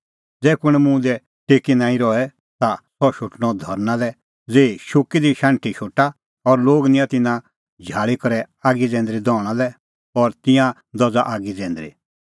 ज़ै कुंण मुंह दी टेकी नांईं रहे ता सह शोटणअ धरना लै ज़ेही शुक्की दी शाण्हीं शोटा और लोग निंयां तिन्नां झाल़ी करै आगी जैंदरी दहणा लै और तिंयां दझ़ा आगी जैंदरी